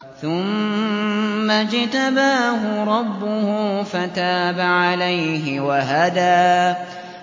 ثُمَّ اجْتَبَاهُ رَبُّهُ فَتَابَ عَلَيْهِ وَهَدَىٰ